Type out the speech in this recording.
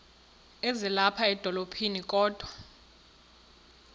ezilapha edolophini kodwa